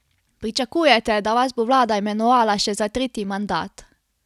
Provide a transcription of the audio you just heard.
Pričakujete, da vas bo vlada imenovala še za tretji mandat?